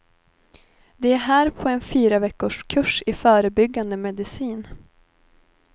De är här på en fyraveckorskurs i förebyggande medicin.